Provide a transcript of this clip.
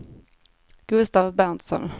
Gustaf Berntsson